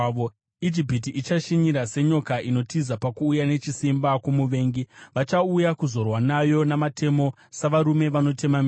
Ijipiti ichashinyira senyoka inotiza pakuuya nechisimba kwomuvengi; vachauya kuzorwa nayo namatemo, savarume vanotema miti.